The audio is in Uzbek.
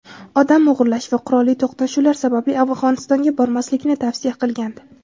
odam o‘g‘irlash va qurolli to‘qnashuvlar sababli Afg‘onistonga bormaslikni tavsiya qilgandi.